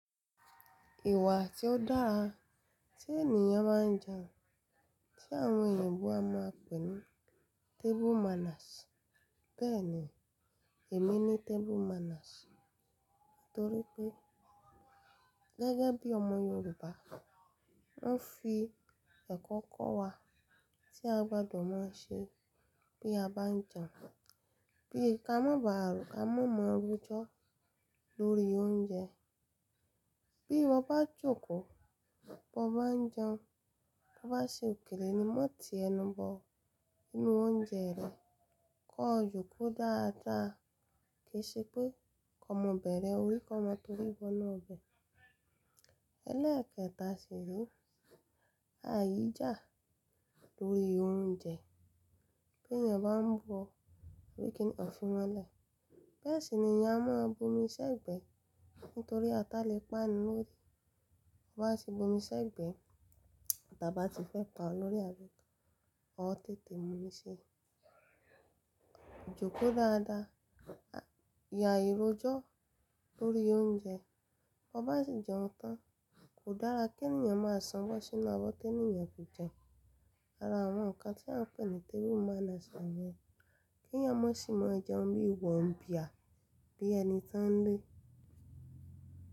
Ìwà tí ó dára tí ènìyàn báa ń jẹun tí àwọn èyìnbó máa ń pè ní table manners. Bẹ́ẹ̀ ni èmi ní table manners nítorí pé gẹ́gẹ́ bí ọmọ Yorùbá, wọn fi ẹ̀kọ́ kọ́ wa tí a gbọdọ̀ má ṣe bí a bá ń jẹun. Bí ká mọ́ ba ààro, ká mọ́ máa rojọ́ lórí oúnjẹ. Bí ọ bá jókòó bó bá ń jẹun, bó bá ṣe òkèlè ni mo ti ẹnu bo inú oúnjẹ rẹ kọ jókòó dáadáa kìí ṣe pé kọ mọ́ bẹ̀rẹ̀ orí kọ mọ́ torí bọ inú ọbẹ̀. Elẹ́kẹta sì re, áíjà lórí oúnjẹ bí ènìyàn bá ń bu ọ̀ orí kí n ọ̀ fi wọ́n lẹ̀. Bẹ́ẹ̀ sì ni ènìyàn a máa bomi sẹ́gbẹ̀ nítorí a tá lè pa áni lórí. Tó bá ti bomi sẹ́gbẹ̀, tàtà bá ti fẹ́ pa ọ lórí abi, ọ tètè mú mi ṣí. Jóko dáadáa, ya ìrójó lórí oúnjẹ. Tọ bá sì jẹun tán, kò dára kí ènìyàn máa sanwọ sí inú abọ́ tí ènìyàn kò jẹun. Ara àwọn nǹkan tí à ń pè ní table manners ni yẹ́n kí ènìyàn má sì máa jẹun bí wọ̀nbíà bí ẹni tí wọ́n ń lé.